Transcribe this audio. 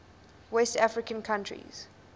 west african countries